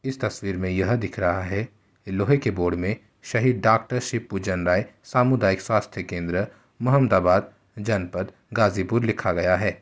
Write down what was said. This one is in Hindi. इस तस्वीर मे यह दिख रहा है कि लोहे के बोर्ड मे शहीद डॉक्टर शिवपूजन राय सामुदायिक स्वास्थ केंद्र मुहम्दाबाद जनपथ गाजीपुर लिखा गया है।